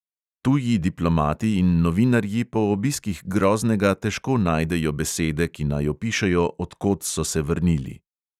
Tuji diplomati in novinarji po obiskih groznega težko najdejo besede, ki naj opišejo, od kod so se vrnili.